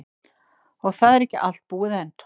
Og það er ekki allt búið enn.